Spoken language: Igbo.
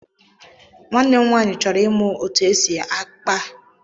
Nwanne m nwaanyị chọrọ ịmụ otú e si àkpá ịhe n'ọnwa na-abịa